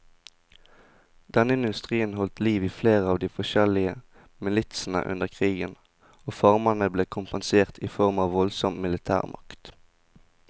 Denne industrien holdt liv i flere av de forskjellige militsene under krigen, og farmerne ble kompensert i form av voldsom militærmakt.